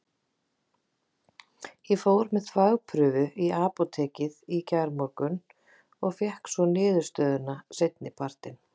Ég fór með þvagprufu í apótekið í gærmorgun og fékk svo niðurstöðuna seinni partinn.